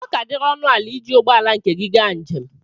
ọ ka diri ọnụ ala iji ụgbọ ala nke gị gaa njem